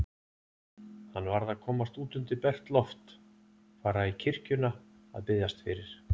Hann varð að komast út undir bert loft, fara í kirkjuna að biðjast fyrir.